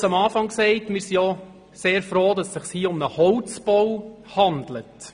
Ich habe es am Anfang gesagt: Wir sind sehr froh, dass es sich um einen Holzbau handelt.